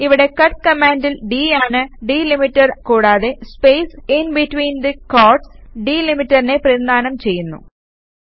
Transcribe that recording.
ഇവിടെ കട്ട് കമാന്ഡിൽ d ആണ് ഡിലിമീറ്റർ കൂടാതെ സ്പേസ് ഇന്ബിറ്റ്വീന് ദി ക്വോറ്റ്സ് ഡിലിമീറ്ററിനെ പ്രതിനിധാനം ചെയ്യുന്നു